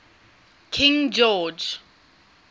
king george